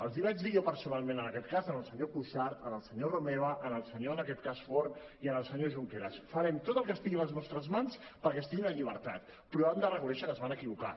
els ho vaig dir jo personalment en aquest cas al senyor cuixart al senyor romeva al senyor en aquest cas forn i al senyor junqueras farem tot el que estigui a les nostres mans perquè estiguin en llibertat però han de reconèixer que es van equivocar